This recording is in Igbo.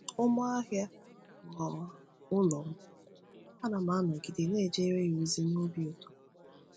Ummoahia ghọrọ ụlọ m, ana m anọgide na-ejere ya ozi n’obi ụtọ.